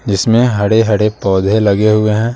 जिसमें हरे-हड़े पौधे लगे हुए हैं।